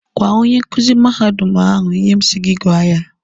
Gwaa onye nkuzi mahadum ahụ ihe m sị gị gwa ya!